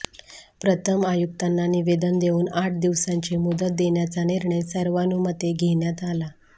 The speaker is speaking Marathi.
प्रथम आयुक्तांना निवेदन देऊन आठ दिवसांची मुदत देण्याचा निर्णय सर्वानुमते घेण्यात आला